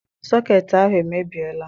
Sọketị ahụ emebiela.